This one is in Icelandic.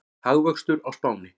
Hagvöxtur á Spáni